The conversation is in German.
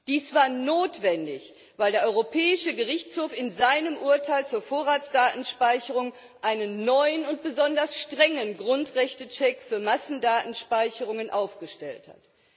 Dies war notwendig, weil der Europäische Gerichtshof in seinem Urteil zur Vorratsdatenspeicherung einen neuen und besonders strengen Grundrechtecheck für Massendatenspeicherungen aufgestellt hat.